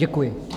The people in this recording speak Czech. Děkuji.